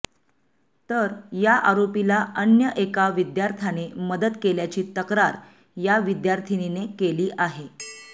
तर या आरोपीला अन्य एका विद्यार्थ्याने मदत केल्याची तक्रार या विद्यार्थिनीने केली आहे